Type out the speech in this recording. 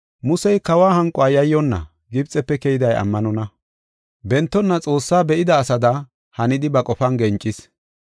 Musey Kawa hanquwa yayyonna, Gibxefe keyday ammanonna. Bentonna Xoossaa be7ida asada hanidi ba qofan gencis.